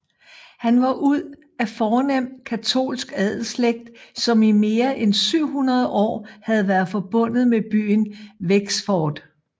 Han var ud af fornem katolsk adelslægt som i mere end 700 år havde været forbundet med byen Wexford